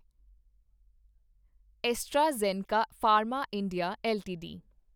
AstraZeneca pharma India LTD